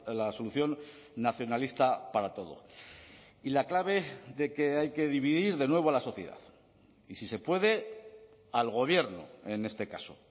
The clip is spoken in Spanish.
la solución nacionalista para todo y la clave de que hay que dividir de nuevo a la sociedad y si se puede al gobierno en este caso